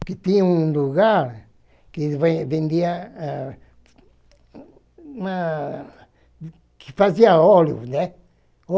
Porque tinha um lugar que ve vendia ah ãh... que fazia óleo, né?